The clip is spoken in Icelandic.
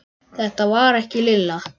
Þetta var ekki Lilla.